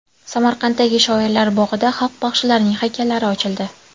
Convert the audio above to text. Samarqanddagi Shoirlar bog‘ida xalq baxshilarining haykallari ochildi.